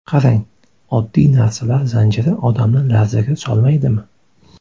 Qarang, oddiy narsalar zanjiri odamni larzaga solmaydimi?